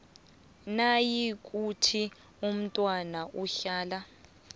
nayikuthi umntwana uhlala